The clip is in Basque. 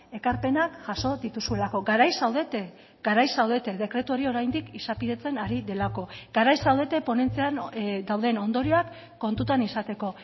ekarpenak jaso dituzuelako garaiz zaudete garaiz zaudete dekretu hori oraindik izapidetzen ari delako garaiz zaudete ponentzian dauden ondorioak kontutan izateko